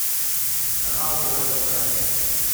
канал бст